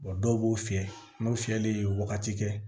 dɔw b'o fiyɛ n'o fiyɛli ye wagati kɛ